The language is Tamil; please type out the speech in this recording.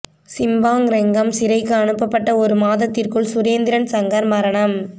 சிம்பாங் ரெங்கம் சிறைக்கு அனுப்பப்பட்ட ஒரு மாதத்திற்குள் சுரேந்திரன் சங்கர் மரணம்